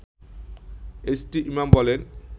H T Imam বলেন